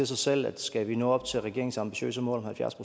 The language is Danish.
sig selv at skal vi nå op til regeringens ambitiøse mål om halvfjerds